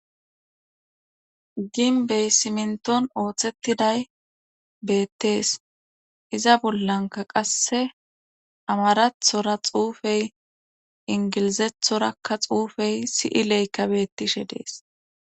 gin bey simnton ooththettiday beettees iza bollanka qasse amarathora xuufey ingilizethorakka xuufey si7i leykabettishe dees